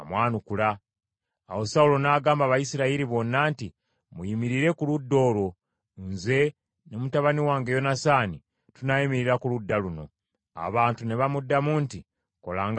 Awo Sawulo n’agamba Abayisirayiri bonna nti, “Muyimirire ku ludda olwo, nze ne mutabani wange Yonasaani tunaayimirira ku ludda luno.” Abantu ne bamuddamu nti, “Kola nga bw’onoosiima.”